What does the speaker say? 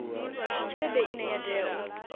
tshelede ine ya tea u